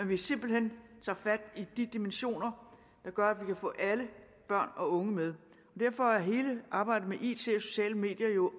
vi simpelt hen tager fat i de dimensioner der gør at vi kan få alle børn og unge med derfor er hele arbejdet med it og sociale medier jo